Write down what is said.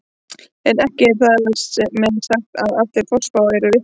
En ekki er þar með sagt að allar forspár séu vitleysa.